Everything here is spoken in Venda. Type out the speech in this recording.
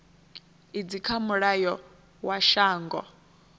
idzi kha mulayo wa shango